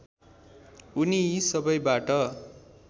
उनी यी सबैबाट